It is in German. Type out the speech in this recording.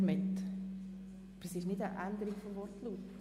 Aber es ist nicht eine Änderung des Wortlauts.